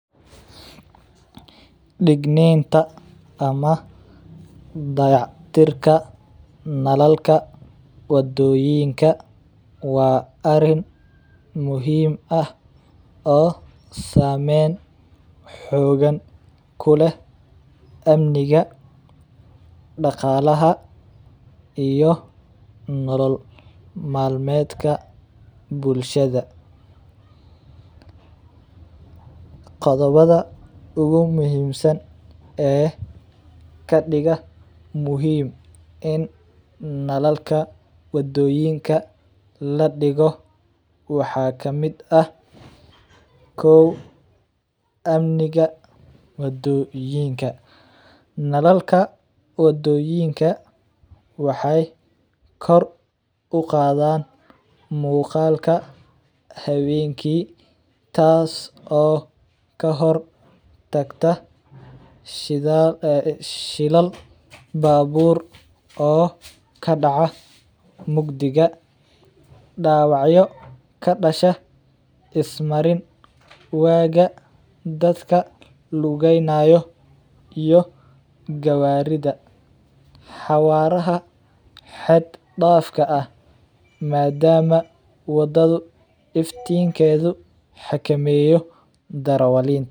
Dagnanta ama dacaytirka nalalka wadoyinka wa ariin muxiim ah oo samen kuleh amniga dagalaha iyo nolol malmedka bulshada, gobadada ogu muxiimsan ee kadiga muxiim in nalalka wadoyinka ladigo waxa kamid ah kow amniga wadoyinka, nalalka wadoyinka waxay kor ugadaan mugaalka hawenki taas oo kahortagta shilal babur oo kadaca mugdiga, dawacyo kadasha ismariin aaga dadka lugeynayo iyo gawarida, hawaraha had dafka ah maadamu wadadu iftinkedu hakameyo darawalinta.